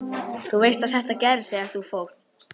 Þú veist að þetta gerðist þegar þú fórst.